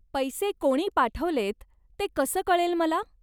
पैसे कोणी पाठवलेत ते कसं कळेल मला?